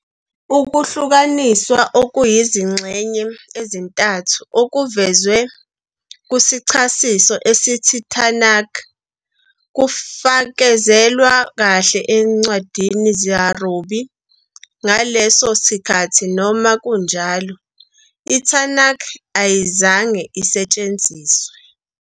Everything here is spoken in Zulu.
Ukuhlukaniswa okuyizingxenye ezintathu okuvezwe "kusichasiso" esithi Tanakh kufakazelwa kahle ezincwadini zorabi. Ngaleso sikhathi, noma kunjalo, "iTanakh" ayizange isetshenziswe.